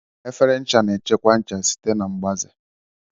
Efere ncha na-echekwa ncha site na mgbaze